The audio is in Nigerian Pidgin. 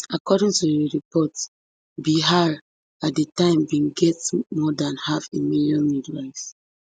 according to di report bihar at di time bin get more dan half a million midwives